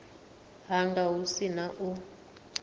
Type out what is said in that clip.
hanga hu si na u